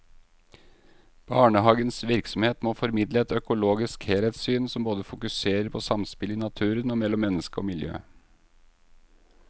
Barnehagens virksomhet må formidle et økologisk helhetssyn som både fokuserer på samspillet i naturen og mellom menneske og miljø.